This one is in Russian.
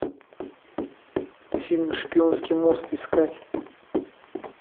фильм шпионский мост искать